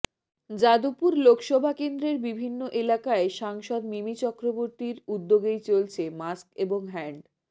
যাদবপুর লোকসভা কেন্দ্রের বিভিন্ন এলাকায় সাংসদ মিমি চক্রবর্তীর উদ্যোগেই চলছে মাস্ক এবং হ্যান্ড